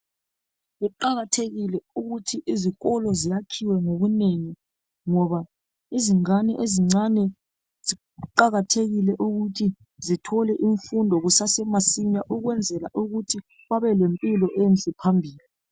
Kuqakathekile ukuthi izikolo zakhiwe ngobunengi ngoba izingane ezincane kuqakathekile ukuthi zithole imfundo kusasemasinya, ukwenzela ukuthi babe lempilo enhle phambili.